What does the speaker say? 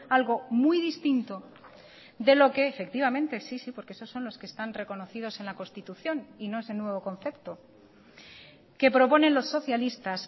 algo muy distinto de lo que efectivamente sí sí porque esos son los que están reconocidos en la constitución y no ese nuevo concepto que proponen los socialistas